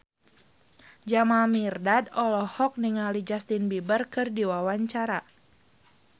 Jamal Mirdad olohok ningali Justin Beiber keur diwawancara